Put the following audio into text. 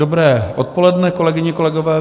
Dobré odpoledne, kolegyně, kolegové.